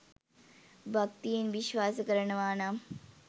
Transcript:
භක්තියෙන් විශ්වාස කරනවා නම්